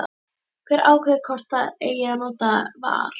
Hver ákveður hvort það eigi að nota VAR?